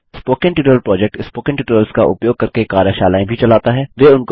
spoken tutorial project spoken tutorials का उपयोग करके कार्यशालाएँ भी चलाता है